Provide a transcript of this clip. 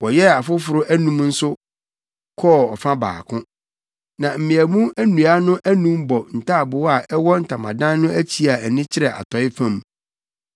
Wɔyɛɛ afoforo anum nso kɔɔ ɔfa baako. Na mmeamu nnua no anum bɔ ntaaboo a ɛwɔ ntamadan no akyi a ani kyerɛ atɔe fam.